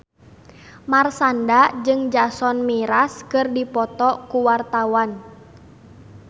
Marshanda jeung Jason Mraz keur dipoto ku wartawan